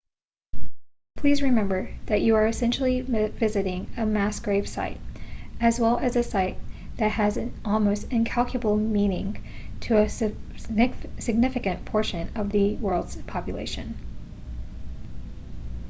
please remember that you are essentially visiting a mass grave site as well as a site that has an almost incalculable meaning to a significant portion of the world's population